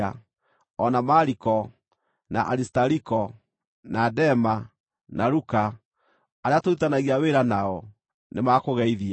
O na Mariko, na Arisitariko, na Dema, na Luka, arĩa tũrutithanagia wĩra nao, nĩmakũgeithia.